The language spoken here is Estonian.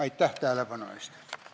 Aitäh tähelepanu eest!